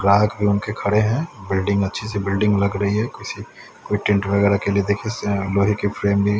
ग्राहक भी उनके खड़े हैं बिल्डिंग अच्छी सी बिल्डिंग लग रही है किसी को टेंट वगैरह के लिए देखिए लोहे की फ्रेम भी--